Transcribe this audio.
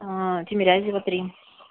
тимирязева три